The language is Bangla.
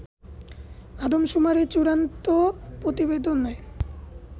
আদমশুমারির চুড়ান্ত প্রতিবেদনে